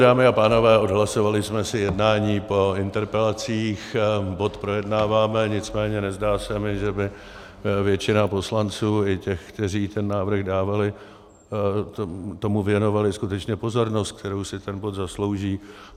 Dámy a pánové, odhlasovali jsme si jednání po interpelacích, bod projednáváme, nicméně nezdá se mi, že by většina poslanců, i těch, kteří ten návrh dávali, tomu věnovali skutečně pozornost, kterou si ten bod zaslouží.